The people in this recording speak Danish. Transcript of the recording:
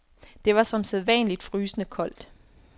Det var som sædvanligt frysende koldt.